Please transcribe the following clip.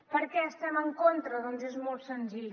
per què hi estem en contra doncs és molt senzill